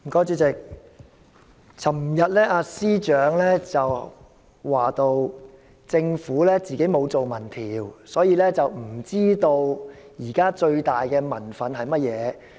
主席，司長昨天提到政府沒有進行民意調查，故不知道現在最大的民憤是甚麼。